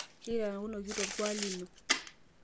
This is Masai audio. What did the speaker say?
kaitakunoki to olkuak lino